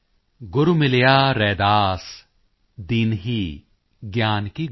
ਗੁਰੂ ਮਿਲਿਆ ਰੈਦਾਸ ਦੀਨਹੀਂ ਗਿਆਨ ਕੀ ਗੁਟਕੀ